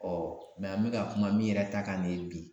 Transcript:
Ɔ mɛ an be ka kuma min yɛrɛ ta kan bi